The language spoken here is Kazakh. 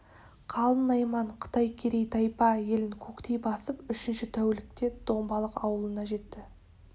қалың найман қытай керей тайпа елін көктей басып үшінші тәулікте домбалық аулына жетті